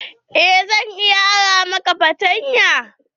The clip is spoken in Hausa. Eh, zan iya ara maka fartanya.